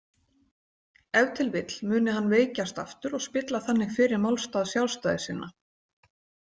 Ef til vill muni hann veikjast aftur og spilla þannig fyrir málstað sjálfstæðissinna.